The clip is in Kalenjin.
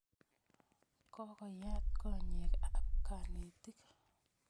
Kokoyat konyek ap kanetik